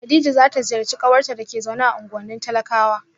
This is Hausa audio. kadija za ta ziyarci kawarta da ke zaune a unguwannin talakawa